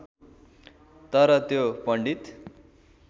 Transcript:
तर त्यो पण्डित